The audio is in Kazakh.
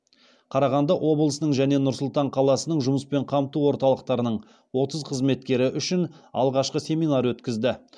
қарағанды облысының және нұр сұлтан қаласының жұмыспен қамту орталықтарының отыз қызметкері үшін алғашқы семинар өткізді